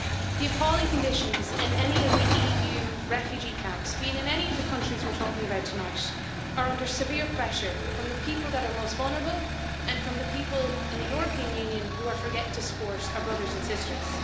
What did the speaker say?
The appalling conditions in any of the EU refugee camps, be it in any of the countries we're talking about tonight, are under severe pressure from the people that are most vulnerable and from the people in the European Union who are forgetting to support our brothers and sisters.